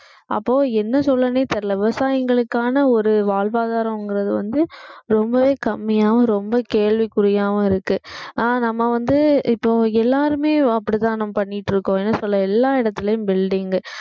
அப்போ என்ன சொல்றதுனே தெரியலே விவசாயிங்களுக்கான ஒரு வாழ்வாதாரங்கிறது வந்து ரொம்பவே கம்மியாவும் ரொம்ப கேள்விக்குறியாவும் இருக்கு ஆனா நம்ம வந்து இப்போ எல்லாருமே அப்படித்தான் நம்ம பண்ணிட்டு இருக்கோம் என்ன சொல்ல எல்லா இடத்திலேயும் building